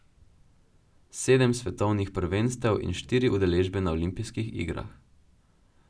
Sedem svetovnih prvenstev in štiri udeležbe na olimpijskih igrah.